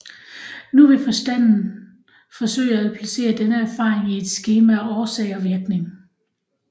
Nu vil forstanden forsøge at placere denne erfaring i et skema af årsag og virkning